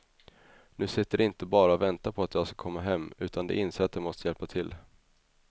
Nu sitter de inte bara och väntar på att jag ska komma hem utan de inser att de måste hjälpa till.